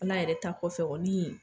Ala yɛrɛ ta kɔfɛ kɔni